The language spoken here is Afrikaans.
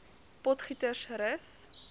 potgietersrus